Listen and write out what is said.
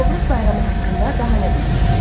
Novruz bayramı haqqında daha nə bilirsiz?